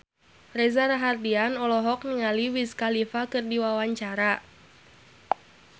Reza Rahardian olohok ningali Wiz Khalifa keur diwawancara